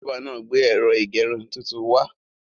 Bábà náà gbé ẹ̀rọ ìgẹrun tuntun wá.